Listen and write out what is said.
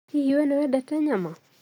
Hihi we nĩ wendete nyama?